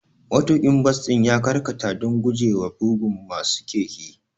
Matuƙin bas ɗin ya karkata don gujewa bugun masu keke.